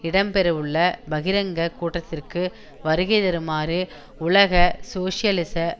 இடம்பெறவுள்ள பகிரங்க கூட்டத்திற்கு வருகைதருமாறு உலக சோசியலிச